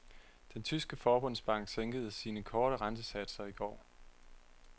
Den tyske forbundsbank sænkede sine korte rentesatser i går.